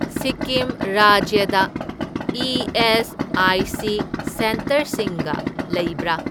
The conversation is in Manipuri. ꯁꯤꯛꯀꯤꯝ ꯔꯥꯖ꯭ꯌꯗ ꯏ.ꯑꯦꯁ.ꯑꯥꯏ.ꯁꯤ. ꯁꯦꯟꯇꯔꯁꯤꯡꯒ ꯂꯩꯕ꯭ꯔꯥ?